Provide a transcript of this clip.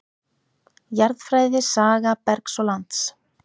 Jarðfræði Saga bergs og lands.